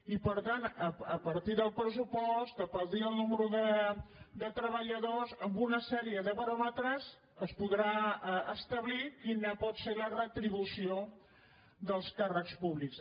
i per tant a par·tir del pressupost a partir del nombre de treballadors amb una sèrie de baròmetres es podrà establir quina pot ser la retribució dels càrrecs públics